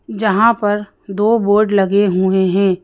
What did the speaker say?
जहां पर दो बोर्ड लगे हुए हैं।